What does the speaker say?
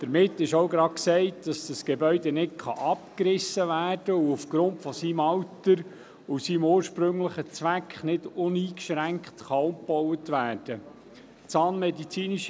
Damit ist auch gesagt, dass das Gebäude nicht abgerissen werden darf und aufgrund seines Alters und seines ursprünglichen Zwecks nicht uneingeschränkt umgebaut werden kann.